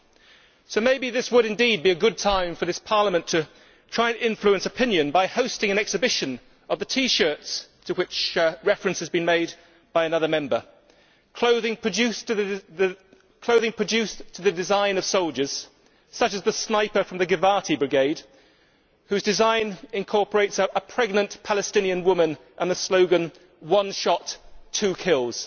Perhaps this would be a good time for this Parliament to try and influence opinion by hosting an exhibition of the T shirts to which reference has been made by another Member clothing produced to the design of soldiers, such as the sniper from the Givati Brigade, whose design incorporates a pregnant Palestinian woman and the slogan One shot, two kills'.